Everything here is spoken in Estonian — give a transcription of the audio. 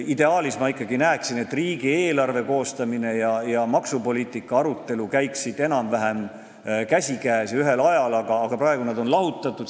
Ideaalis ma ikkagi näeksin, et riigieelarve koostamine ja maksupoliitika arutelu käiksid enam-vähem käsikäes ja toimuksid ühel ajal, aga praegu on nad lahutatud.